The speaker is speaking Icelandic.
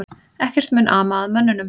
Ekkert mun ama að mönnunum